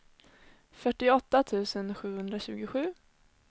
fyrtioåtta tusen sjuhundratjugosju